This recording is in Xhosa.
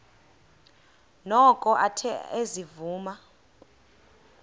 noko athe ezivuma